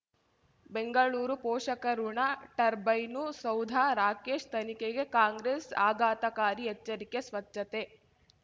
ಬೆಂಗಳೂರು ಪೋಷಕಋಣ ಟರ್ಬೈನು ಸೌಧ ರಾಕೇಶ್ ತನಿಖೆಗೆ ಕಾಂಗ್ರೆಸ್ ಆಘಾತಕಾರಿ ಎಚ್ಚರಿಕೆ ಸ್ವಚ್ಛತೆ